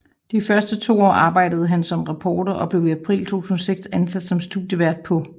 De første to år arbejdede han som reporter og blev i april 2006 ansat som studievært på